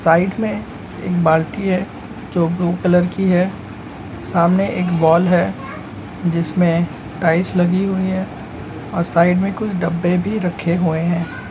Side में एक बाल्टी है जो की ब्लू कलर की है सामने एक वॉल है जिसमे टाइल्स लगी हुई हुई है और साइड में कुछ डिब्बे भी रखे है।